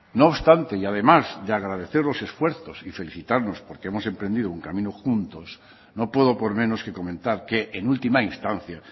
no obstante y además de agradecer los esfuerzos y felicitarnos porque hemos emprendido un camino juntos no puedo por menos que comentar que en última instancia